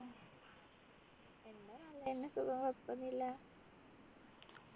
നല്ലെന്നേ സുഖം കൊഴപ്പൊന്നും ഇല്ല